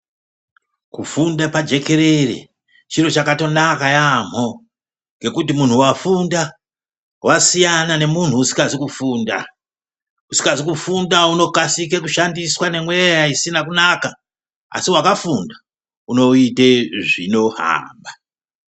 Kufunda pajekerere ,chiro chakatonaka yaamho ,ngekuti muntu wafunda wasiyana nemuntu usikazi kufunda. Usikazi kufunda unokasike kushandiswe nemweya isina kunaka ,asi wakafunda unoite zvinohamba.